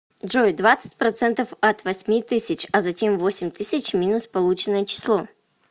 джой двадцать процентов от восьми тысяч а затем восемь тысяч минус полученное число